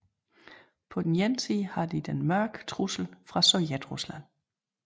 På den ene side har de den mørke trussel fra Sovjetrusland